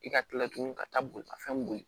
I ka kila tugun ka taa bolimafɛn boli